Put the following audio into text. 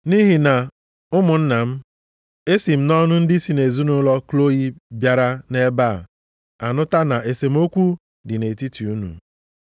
Nʼihi na ụmụnna m, esi m nʼọnụ ndị si nʼezinaụlọ Kloyi bịara nʼebe a nụta na esemokwu dị nʼetiti unu.